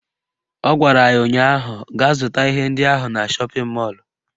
Ọ gwara ya ụnyaahụ "Gaa zụta ihe ndị ahụ na shọpịn mọlụ"